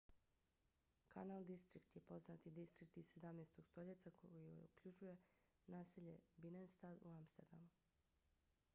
kanal distrikt nizozemski: grachtengordel je poznati distrikt iz 17. stoljeća koji okružuje naselje binnenstad u amsterdamu